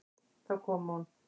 Þá kom hún.